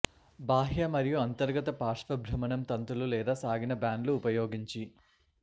బాహ్య మరియు అంతర్గత పార్శ్వ భ్రమణం తంతులు లేదా సాగిన బ్యాండ్లు ఉపయోగించి